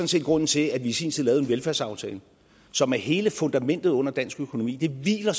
set grunden til at vi i sin tid lavede en velfærdsaftale som er hele fundamentet under dansk økonomi den hviler